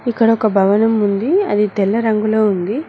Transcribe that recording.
ఇక్కడ ఒక భవనం ఉంది అది తెల్ల రంగులో ఉంది.